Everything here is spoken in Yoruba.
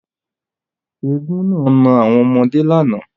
Éégún naa na àwọn ọmọde làná.